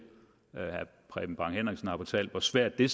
herre preben bang henriksen har fortalt hvor svært det